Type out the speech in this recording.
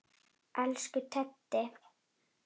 Elsku Teddi.